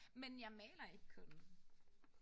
Men jeg maler ikke kun